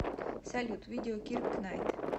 салют видео кирк найт